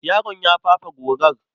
Yaron ya fafe gorar.